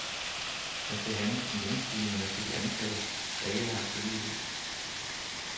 Der skal handles om lønstigningerne til de ansatte, der ikke har et forlig i hus.